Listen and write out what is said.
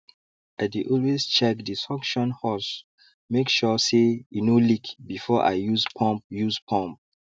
i dey always check the suction hose make sure say e no leak before i use pump use pump